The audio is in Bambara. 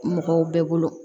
Mɔgɔw bɛɛ bolo